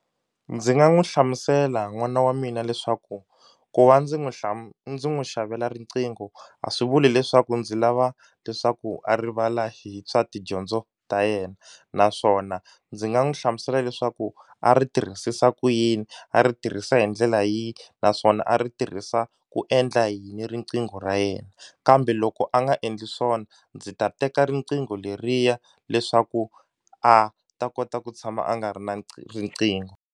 Ndzi nga n'wi hlamusela n'wana wa mina leswaku ku va ndzi n'wi ndzi n'wi xavela riqingho a swi vuli leswaku ndzi lava leswaku a rivala hi swa tidyondzo ta yena naswona ndzi nga n'wi hlamusela leswaku a ri tirhisisa ku yini a ri tirhisa hi ndlela yihi naswona a ri tirhisa ku endla yini riqingho ra yena kambe loko a nga endli swona ndzi ta teka riqingho leriya leswaku a ta kota ku tshama a nga ri na riqingho.